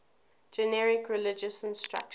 generic religious instruction